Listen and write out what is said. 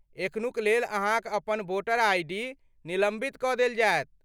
एखनुक लेल अहाँक अपन वोटर आइ.डी. निलम्बित कऽ देल जायत।